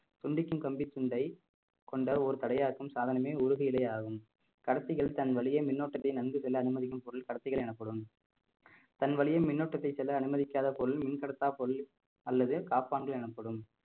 துண்டிக்கும் கம்பி துண்டை கொண்ட ஒரு தடையாக்கும் சாதனமே உருகு நிலையாகும் கடத்திகள் தன் வழியே மின்னோட்டத்தை நன்கு செல்ல அனுமதிக்கும் பொருள் கடத்திகள் எனப்படும் தன் வழியில் மின்னோட்டத்தை செல்ல அனுமதிக்காத பொருள் மின்கடத்தா பொருள் அல்லது காப்பான்கள் எனப்படும்